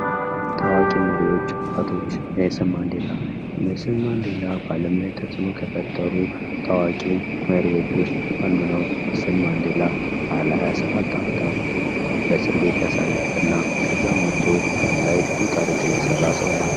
ታዋቂ መሪዎች አባቶች ኔልሰን ማንዴላ:- ኔልሰን ማንዴላ በአለም ላይ ተፅዕኖ ከፈጠሩ ታዋቂ መሪዎች ዉስጥ አንዱ ነዉ። ኔልሰን ማንዴላ ለ 27 ዓመታት በእስር ቤት ያሳለፈ እና ከዚያም ወጦ አለም ላይ ብዙ ታሪክን የሰራ ነዉ።